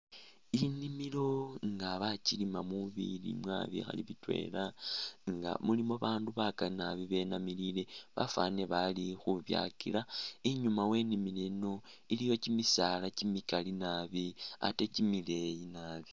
Inimilo nga bakilimamo bilimwa bikhali bitwela nga mulimu bandu bakali nabi benamilile bafwanile bali khu byakila, inyuuma we inimilo eno iliyo kimisaala kimikali nabi ate kimileeyi.